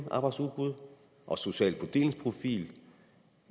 arbejdsudbud og social fordelingsprofil